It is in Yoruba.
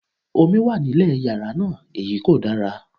Omi wà nílé yàrá náà, èyí kò dára.